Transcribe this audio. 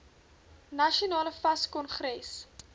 nasionale fas kongres